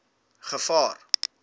gevaar